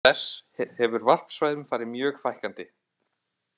Auk þess hefur varpsvæðum farið mjög fækkandi.